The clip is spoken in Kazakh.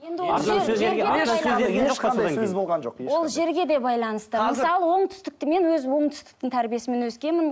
ол жерге де байланысты мысалы оңтүстікті мен өзім оңтүстіктің тәрбиесімен өскенмін